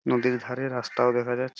নদীর ধারে রাস্তাও দেখা যাচ্--